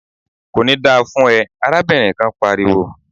"Kò ní da fún ẹ!" arábìnrin kan pariwo.